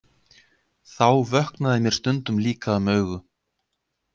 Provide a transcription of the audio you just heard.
Þá vöknaði mér stundum líka um augu.